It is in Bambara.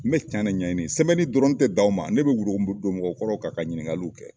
N bɛ cɛn ne ɲaɲini, sɛbɛnni dɔrɔn, n tɛ dan o ma, n bɛ wuro don mɔgɔkɔrɔw kan ka ɲininkaliw kɛ.